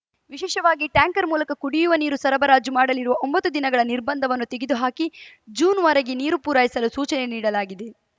ವಿಶೇಷವಾಗಿ ಟ್ಯಾಂಕರ್‌ ಮೂಲಕ ಕುಡಿಯುವ ನೀರು ಸರಬರಾಜು ಮಾಡಲಿರುವ ಒಂಬತ್ತು ದಿನಗಳ ನಿರ್ಬಂಧವನ್ನು ತೆಗೆದು ಹಾಕಿ ಜೂನ್‌ವರೆಗೆ ನೀರು ಪೂರೈಸಲು ಸೂಚನೆ ನೀಡಲಾಗಿದೆ